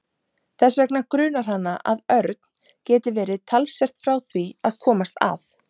Þess vegna grunar hana að Örn geti verið talsvert frá því að komast að.